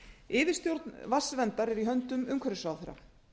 yfirstjórn vatnsverndar er í höndum umhverfisráðherra